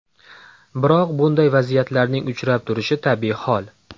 Biroq bunday vaziyatlarning uchrab turishi tabiiy hol.